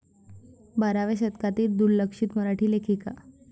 बाराव्या शतकातील दुर्लक्षित मराठी लेखिका.